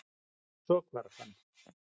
Svo hvarf hann.